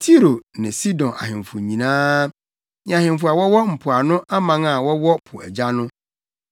Tiro ne Sidon ahemfo nyinaa; ne ahemfo a wɔwɔ mpoano aman a wɔwɔ po agya no;